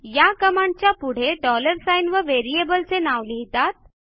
या कमांडच्या पुढे डॉलर साइन व व्हेरिएबलचे नाव लिहितात